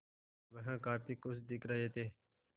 वह काफ़ी खुश दिख रहे थे